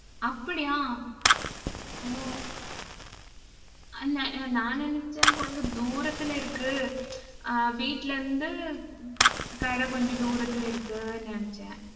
அப்படியா? ஓ அந்த நான் நினைச்சேன், கொஞ்சம் தூரத்துல இருக்கு. ஆஹ் வீட்டுல இருந்து கடை கொஞ்சம் தூரத்துல இருக்குன்னு நினைச்சேன்